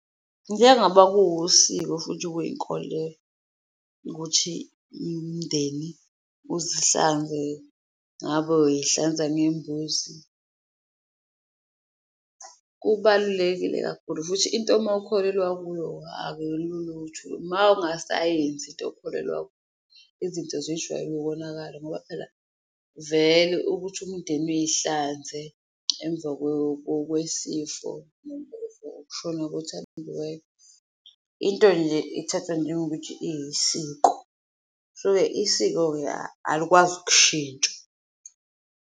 Njengaba kuwusiko futhi kuyikolelo ukuthi imndeni uzihlanze ngabo uyihlanza ngembuzi kubalulekile kakhulu futhi into mawukholelwa kuyo akulula mawungasayenzi into okholelwa izinto zijwayele ukonakala ngoba phela vele ukuthi umndeni uyihlanze emva kwesifo ukushona kothandiweyo. Into nje ithatha njengokuthi iyisiko so isiko-ke alikwazi ukushintsha.